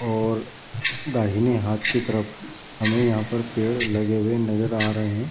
और दाहिने हाथ की तरफ हमे यहां पर पेड़ लगे हुए नजर आ रहे।